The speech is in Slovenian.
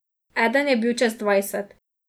Eden je bil čez dvajset.